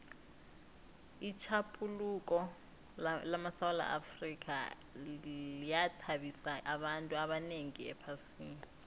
itjhaphuluko lamasewula afrika yathabisa abantu abanengi ephasini